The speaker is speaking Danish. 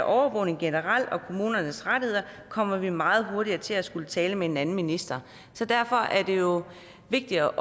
overvågning generelt og kommunernes rettigheder kommer vi meget hurtigt til at skulle tale med en anden minister derfor er det jo vigtigt at